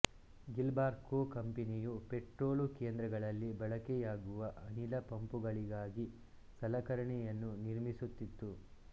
Gilbarco ಕಂಪನಿಯು petrol ಕೇಂದ್ರಗಳಲ್ಲಿ ಬಳಕೆಯಾಗುವ ಅನಿಲ ಪಂಪುಗಳಿಗಾಗಿ ಸಲಕರಣೆಯನ್ನು ನಿರ್ಮಿಸುತ್ತಿತ್ತು